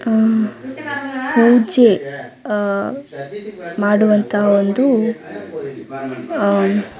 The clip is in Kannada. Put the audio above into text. ಆಹ್ಹ್ ಪೂಜೆ ಆಹ್ಹ್ ಮಾಡುವಂತಹ ಒಂದು ಆಹ್ಹ್--